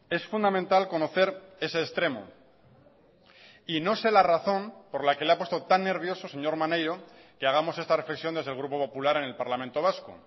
es fundamental conocer ese extremo y no sé la razón por la que le ha puesto tan nervioso señor maneiro que hagamos esta reflexión desde el grupo popular en el parlamento vasco